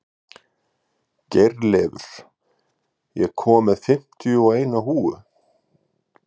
Geirleifur, ég kom með fimmtíu og eina húfur!